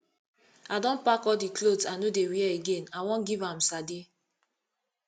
i don pack all the clothes i no dey wear again i wan give am sade